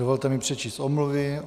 Dovolte mi přečíst omluvy.